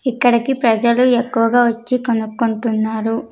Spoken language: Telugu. ఇక్కడికి ప్రజలు ఎక్కువగా వచ్చి కొనుక్కుంటున్నారు.